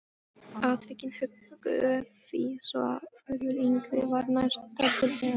Atvikin höguðu því svo, að Þórður Yngvi var nærstaddur þegar